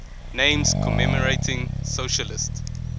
names commemorating socialist